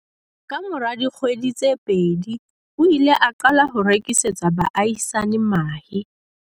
Kamora dikgwedi tse pedi, o ile a qala ho rekisetsa baahisani mahe.